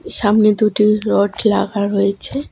সামনে দুটি রড লাগা রয়েছে।